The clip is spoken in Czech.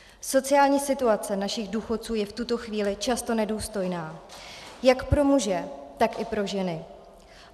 Sociální situace našich důchodců je v tuto chvíli často nedůstojná jak pro muže, tak i pro ženy.